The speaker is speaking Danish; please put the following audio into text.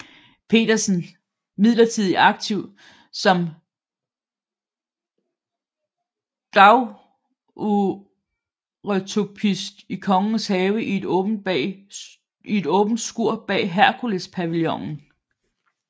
Petersen imidlertid aktiv som daguerreotypist i Kongens Have i et åbent skur bag Herkulespavillonen